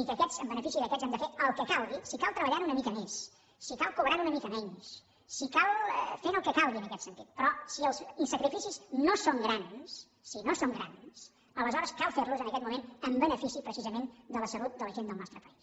i que en benefici d’aquests hem de fer el que calgui si cal treballant una mica més si cal cobrant una mica menys si cal fent el que calgui en aquest sentit però si els sacrificis no són grans si no són grans aleshores cal fer los en aquest moment en benefici precisament de la salut de la gent del nostre país